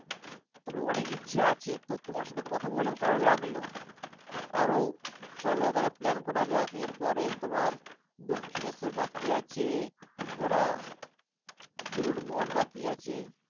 তবে অনেক ইচ্ছা আছে। তো তোমার সাথে কথা বলে ভালো লাগলো। আরো চলো তাহলে plan করা যাক এর পরে তোমার দক্ষিনেশ্বর বাকি আছে ঘোরা। বেলুড়মট বাকি আছে।